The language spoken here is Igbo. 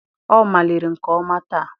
Ọ maliri nke ọma taa.